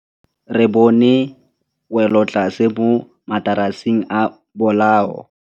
Re bone wêlôtlasê mo mataraseng a bolaô.